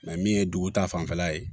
min ye dugu ta fanfɛla ye